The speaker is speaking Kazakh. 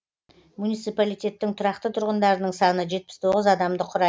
муниципалитеттің тұрақты тұрғындарының саны жетпіс тоғыз адамды құрайды